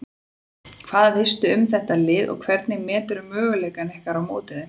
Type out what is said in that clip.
Hvað veistu um þetta lið og hvernig meturðu möguleika ykkar á móti þeim?